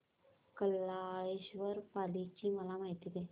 बल्लाळेश्वर पाली ची मला माहिती दे